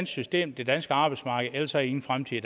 system det danske arbejdsmarked ellers har i ingen fremtid